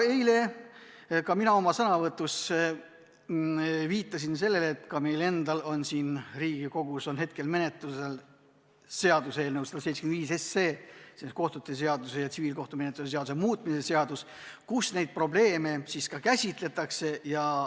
Eile ma oma sõnavõtus viitasin sellele, et meil on Riigikogus menetluses seaduseelnõu 175 ehk kohtute seaduse ja tsiviilkohtumenetluse seadustiku muutmise seaduse eelnõu, kus neid probleeme käsitletakse.